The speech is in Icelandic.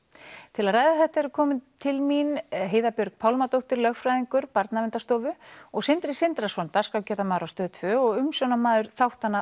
til að ræða þetta eru komin til mín Heiða Björg Pálmadóttir lögfræðingur Barnaverndarstofu og Sindri Sindrason dagskrárgerðarmaður á Stöð tvö og umsjónarmaður þáttanna